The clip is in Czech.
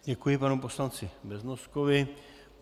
Děkuji panu poslanci Beznoskovi.